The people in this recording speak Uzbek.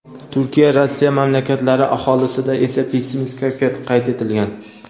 Turkiya Rossiya mamlakatlari aholisida esa pessimist kayfiyat qayd etilgan.